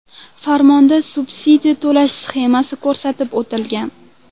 Farmonda subsidiya to‘lash sxemasi ko‘rsatib o‘tilgan.